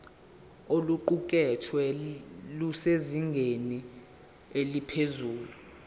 oluqukethwe lusezingeni eliphezulu